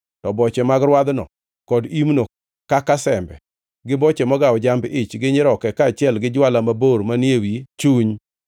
To boche mag rwadhno kod imno kaka sembe, gi boche mogawo jamb-ich gi nyiroke kaachiel gi jwala mabor manie wi chuny,